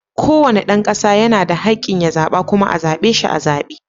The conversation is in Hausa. Kowane dan kasa yana da hakkin ya zaɓa kuma a zaɓe shi a zabe.